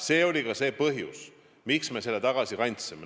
See oli ka põhjus, miks me selle tagasi kandsime.